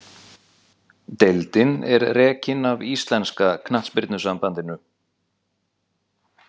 Deildin er rekin af Íslenska knattspyrnusambandinu.